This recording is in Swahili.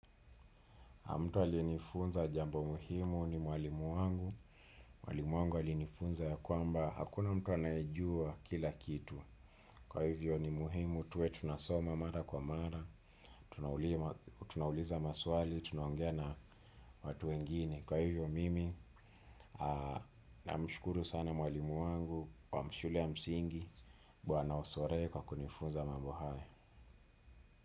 Mtu aliyenifunza jambo muhimu ni mwalimu wangu. Mwalimu wangu alinifunza ya kwamba hakuna mtu aneyejua kila kitu. Kwa hivyo ni muhimu tuwe tunasoma mara kwa mara. Tunauliza maswali, tunaongea na watu wengini. Kwa hivyo mimi namshukuru sana mwalimu wangu wa shule ya msingi. Bwana osore kwa kunifunza mambo haya.